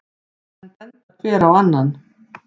Menn benda hver á annan.